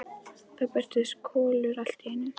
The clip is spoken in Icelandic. Þá birtist Kolur allt í einu.